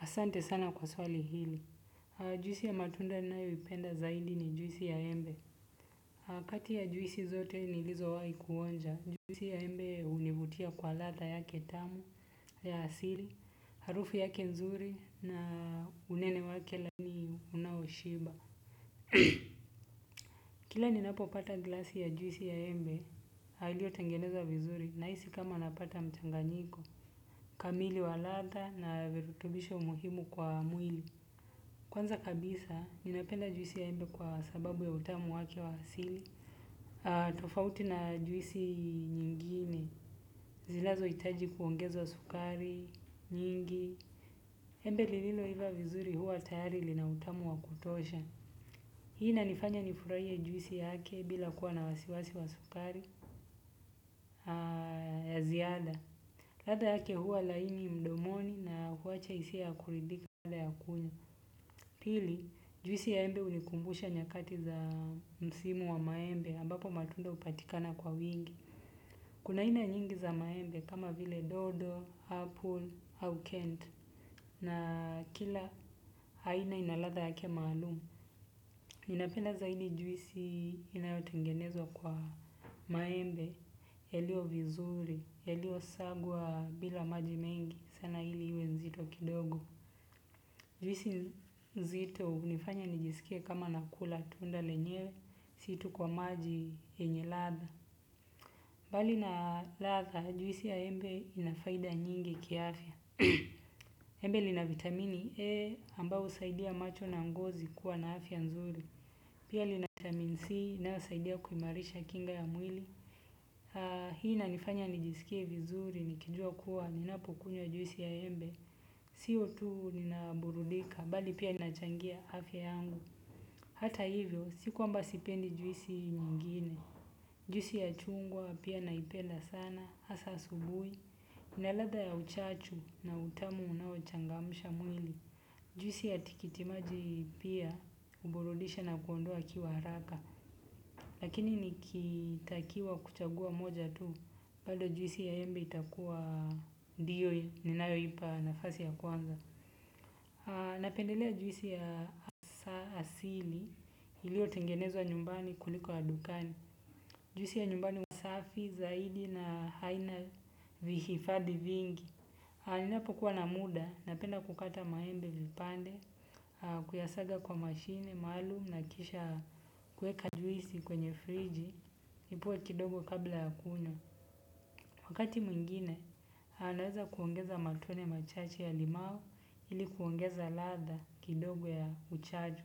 Asante sana kwa swali hili. Juisi ya matunda nayoipenda zaidi ni juisi ya embe. Kati ya juisi zote nilizo wahi kuonja. Juisi ya embe hunivutia kwa ladha yake tamu, ya asili, harufu yake nzuri na unene wake laini unaoshiba. Kila ninapo pata glasi ya juisi ya embe, ilio tengenezwa vizuri nahisi kama napata mchanganyiko. Kamili wa ladha na virutubisho muhimu kwa mwili. Kwanza kabisa, ninapenda juisi ya embe kwa sababu ya utamu wake wa asili. Tofauti na juisi nyingine, zinazo hitaji kuongezwa sukari, nyingi. Embe lililo iva vizuri huwa tayari lina utamu wa kutosha. Hii inanifanya nifurahie juisi yake bila kuwa na wasiwasi wa sukari ya ziada. Ladha yake huwa laini mdomoni na huwacha hisia ya kuridika baada ya kunywa. Pili, juisi ya embe hunikumbusha nyakati za msimu wa maembe, ambapo matunda hupatikana kwa wingi. Kuna aina nyingi za maembe kama vile dodo, apple au kent na kila aina ina ladha yake malumu. Ninapenda zaidi juisi inayotengenezwa kwa maembe, yalio vizuri, yalio sagwa bila maji mengi, sana hili iwe nzito kidogo. Juisi nzito hunifanya nijisikie kama nakula tunda lenyewe, si tu kwa maji yenye ladha. Bali na ladha, juisi ya embe ina faida nyingi kiafya. Embe lina vitamini A ambao husaidia macho na ngozi kuwa na afya nzuri. Pia lina vitamini C inayosaidia kuimarisha kinga ya mwili. Hii inanifanya nijisikie vizuri, nikijua kuwa ninapokunywa juisi ya embe. Sio tu nina burudika, bali pia nachangia afya yangu. Hata hivyo, si kwamba sipendi juisi nyingine. Juisi ya chungwa pia naipenda sana, hasa asubuhi. Na ladha ya uchachu na utamu unaochangamsha mwili. Juisi ya tikitimaji pia, huburudisha na kuondoa kiwa haraka. Lakini nikitakiwa kuchagua moja tu, bado juisi ya embe itakuwa ndiyo ninayoipa nafasi ya kwanza. Napendelea juisi ya asili ilio tengenezwa nyumbani kuliko ya dukani. Juisi ya nyumbani huwa safi zaidi na haina vihifadhi vingi ninapokuwa na muda napenda kukata maembe vipande. Kuyasaga kwa mashine maalum na kisha kueka juisi kwenye friji. Ipoe kidogo kabla ya kunywa. Wakati mwingine naweza kuongeza matone machache ya limao ili kuongeza ladha kidogo ya uchachu.